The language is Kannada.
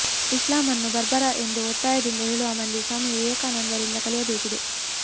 ಇಸ್ಲಾಮನ್ನು ಬರ್ಬರ ಎಂದು ಒತ್ತಾಯದಿಂದ ಹೇಳುವ ಮಂದಿ ಸ್ವಾಮಿ ವಿವೇಕಾನಂದ ರಿಂದ ಕಲಿಯಬೇಕಿದೆ